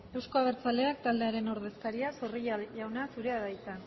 euzko abertzaleak taldearen ordezkaria zorrilla jauna zurea de hitza